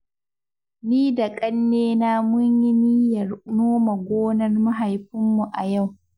Ni da ƙanina mun yi niyyar nome gonar mahaifinmu a yau.